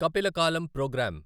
కపిల కాలం ప్రోగ్రామ్